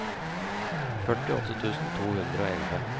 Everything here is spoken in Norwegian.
førtiåtte tusen to hundre og elleve